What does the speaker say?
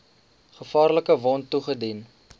gevaarlike wond toegedien